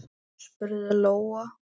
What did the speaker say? spurði Lóa.